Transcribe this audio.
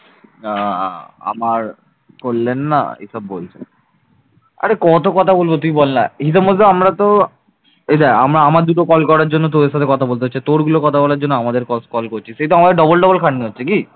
এই দেখ আমার দুটো call করার জন্য তোর সাথে কথা বলতে হচ্ছে তোর গুলো কথা বলার জন্য আমাদেরকে call করছিস। সেই তো আমাদের double double খাটনি হচ্ছে কি